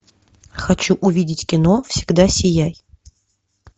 хочу увидеть кино всегда сияй